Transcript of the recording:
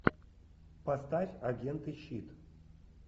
поставь агенты щит